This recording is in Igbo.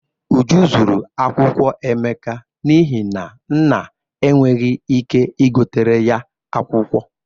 Uju zuru akwụkwọ Emeka n'ihi na nna enweghị ike igoteere ya akwụkwọ.